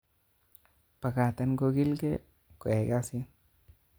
Bakaten kokilge koyai kasit